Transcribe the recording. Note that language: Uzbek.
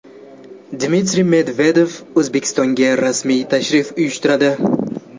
Dmitriy Medvedev O‘zbekistonga rasmiy tashrif uyushtiradi .